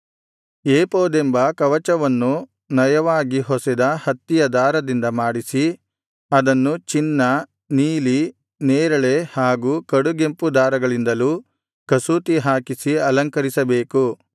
ಏಫೋದೆಂಬ ಕವಚವನ್ನು ನಯವಾಗಿ ಹೊಸೆದ ಹತ್ತಿಯ ದಾರದಿಂದ ಮಾಡಿಸಿ ಅದನ್ನು ಚಿನ್ನ ನೀಲಿ ನೇರಳೆ ಹಾಗೂ ಕಡುಗೆಂಪು ದಾರಗಳಿಂದಲೂ ಕಸೂತಿ ಹಾಕಿಸಿ ಅಲಂಕರಿಸಬೇಕು